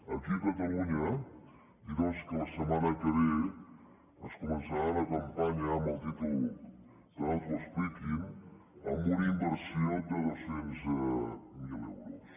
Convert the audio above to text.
aquí a catalunya dir doncs que la setmana que ve es començarà una campanya amb el títol que no t’ho expliquin amb una inversió de dos cents miler euros